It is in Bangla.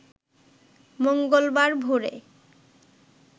মঙ্গলবার ভোরে